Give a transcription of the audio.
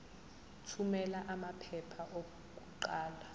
thumela amaphepha okuqala